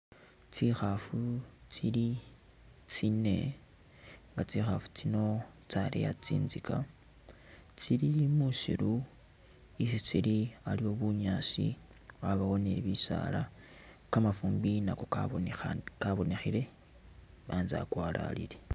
Tsikhaafu tsili tsine nga Tsikhaafu tsino tsaleya tsinzika, tsili musiiru isi tsili aliwo bunyaasi yabawo ne bisaala, kamafumbi nako kabonekhile, anzye akwalalile.